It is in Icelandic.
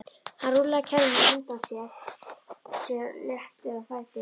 Hann rúllaði kerrunni á undan sér léttur á fæti.